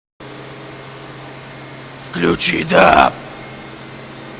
включи даб